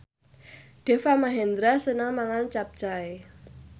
Deva Mahendra seneng mangan capcay